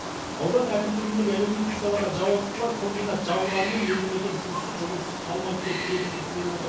аудан әкімдігіндегі әлеуметтік салаға жауаптылар комбинат жабылғанымен елді мекен сусыз жылусыз қалмайды деп кепілдік беріп отыр